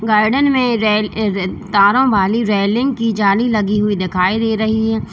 Garden में तारों वाली रेलिंग की जाली लगी हुई दिखाई दे रही है।